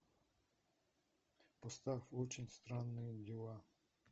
поставь очень странные дела